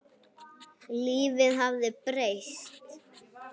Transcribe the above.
Lífið hafði breyst.